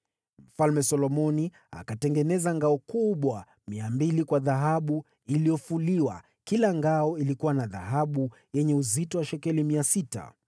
Mfalme Solomoni akatengeneza ngao kubwa 200 kwa dhahabu iliyofuliwa; kila ngao ilikuwa na dhahabu yenye uzito wa shekeli 600